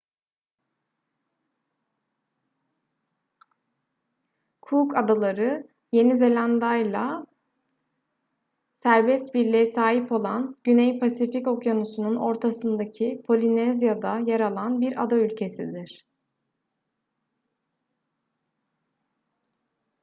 cook adaları yeni zelanda'yla serbest birliğe sahip olan güney pasifik okyanusu'nun ortasındaki polinezya'da yer alan bir ada ülkesidir